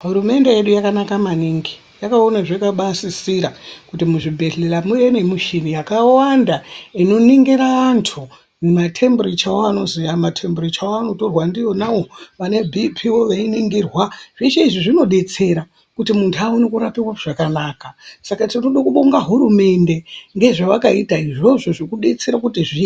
Hurumende yedu yakanaka maningi yakaona zvakabasisira kuti muzvibhehleya mune nemuchini yakawanda inoningira vantu matemburichawo matemburicha anotorwa ndeyena yakawanda inoningira vantu matemburicha Aya matemburicha Aya anotorwa ndiwona awa vane bhipii veiningirwa ndewona zvese izvi zvinodetsera kuti muntu aone kurapiwa zvakanaka tinoda kubonga hurumende ngeavakaita izvozvo zvekudetsera .